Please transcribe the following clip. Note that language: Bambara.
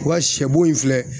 Wa sɛbo in filɛ